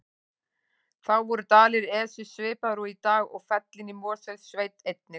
Þá voru dalir Esju svipaðir og í dag og fellin í Mosfellssveit einnig.